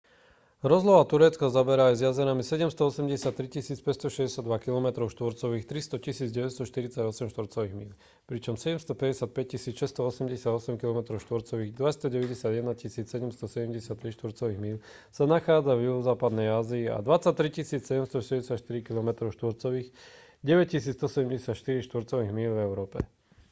rozloha turecka zaberá aj s jazerami 783 562 kilometrov štvorcových 300 948 štvorcových míľ pričom 755 688 kilometrov štvorcových 291 773 štvorcových míľ sa nachádza v juhozápadnej ázii a 23 764 kilometrov štvorcových 9 174 štvorcových míľ v európe